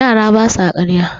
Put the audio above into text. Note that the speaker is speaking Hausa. yara ba sa karya